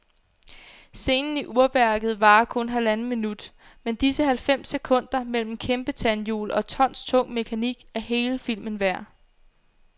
Scenen i urværket varer kun halvandet minut, men disse halvfems sekunder mellem kæmpetandhjul og tonstung mekanik er hele filmen værd.